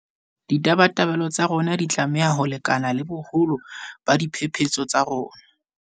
Ditabatabelo tsa rona di tlameha ho lekana le boholo ba diphephetso tsa rona.